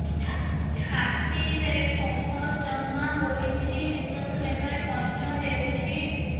ଛାତିରେ କଫ ଜମା ହୋଇଛି ନିଶ୍ୱାସ ନେବାରେ କଷ୍ଟ ହେଉଛି